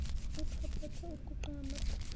uphampatha uguqe ngamadolo